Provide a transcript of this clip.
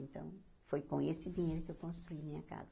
Então, foi com esse dinheiro que eu construí minha casa.